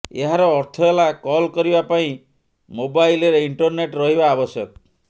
ଏହାର ଅର୍ଥ ହେଲା କଲ କରିବା ପାଇଁ ମୋବାଇଲରେ ଇଣ୍ଟରନେଟ ରହିବା ଆବଶ୍ୟକ